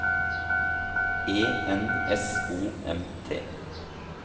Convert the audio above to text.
E N S O M T